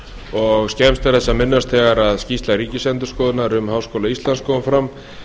og skemmst er þess að minnast þegar skýrsla ríkisendurskoðunar um háskóla íslands kom fram